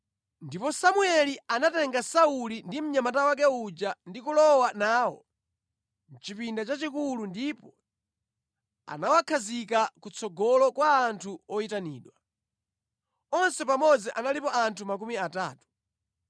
Ndipo Samueli anatenga Sauli ndi mnyamata wake uja ndi kulowa nawo mʼchipinda chachikulu ndipo anawakhazika kutsogolo kwa anthu oyitanidwa. Onse pamodzi analipo anthu makumi atatu.